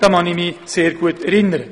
Daran kann ich mich sehr gut erinnern.